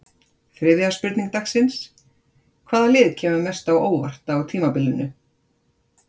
Þriðja spurning dagsins: Hvaða lið kemur mest á óvart á tímabilinu?